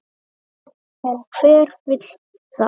En hver vill það?